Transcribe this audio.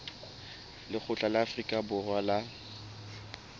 lekgotla la afrika borwa la